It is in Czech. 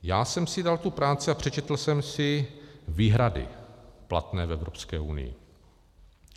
Já jsem si dal tu práci a přečetl jsem si výhrady platné v Evropské unii.